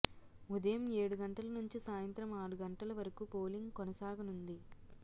ఉదయం ఏడు గంటల నుంచి సాయంత్రం ఆరు గంటల వరు పోలింగ్ కొనసాగనుంది